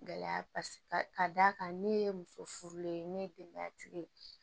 Gɛlɛya paseke ka d'a kan ne ye muso furulen ne ye denbaya tigi ye